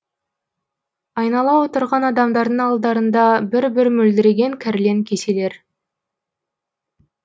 айнала отырған адамдардың алдарында бір бір мөлдіреген кәрлен кеселер